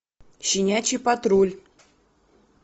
щенячий патруль